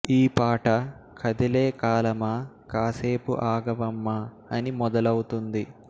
ఈ పాట కదిలే కాలమా కాసేపు ఆగవమ్మా అని మొదలౌతుంది